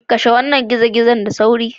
Kashe wannan gizo-gizo da sauri.